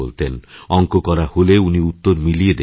অঙ্ক করা হলে উনি উত্তর মিলিয়ে দেখতেন